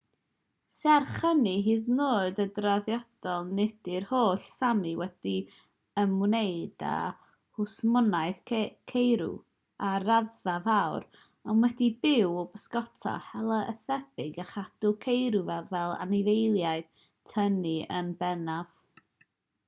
serch hynny hyd yn oed yn draddodiadol nid yw'r holl sámi wedi ymwneud â hwsmonaeth ceirw ar raddfa fawr ond wedi byw o bysgota hela a thebyg a chadw ceirw fel anifeiliaid tynnu yn bennaf